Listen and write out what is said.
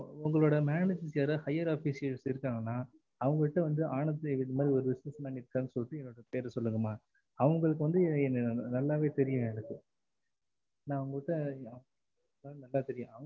உங்களோட manager higher officers இருக்காங்கன அவுங்க கிட்ட ஆனந்த் இது மாதிரி கேட்டு சொல்லுங்கம்மா அவுங்களுக்கு வந்து என்னைய நல்லாவே தெரியும் எனக்கு ந அவுங்ககிட்ட நல்ல தெரியும்